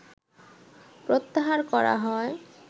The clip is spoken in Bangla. প্রত্যাহার করা হয়